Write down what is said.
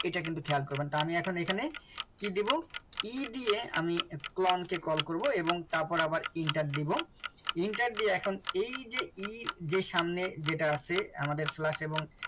এটা কিন্তু খেয়াল করবেন তা আমি এখন এখানে কি দেবো e দিয়ে আমি clone কে call করব এবং তারপর আবার enter দেব enter দিয়ে এখন এই যে e যে সামনে যেটা আছে আমাদের slash এবং